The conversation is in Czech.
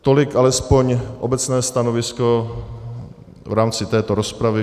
Tolik alespoň obecné stanovisko v rámci této rozpravy.